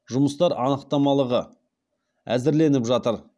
жұмыстар анықтамалығы әзірленіп жатыр